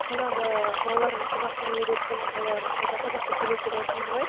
жаңағы балаларымды қазақ тіліне үйреттім олар таза қазақша сөйлейді деп айттыңыз ғой